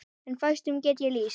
En fæstum get ég lýst.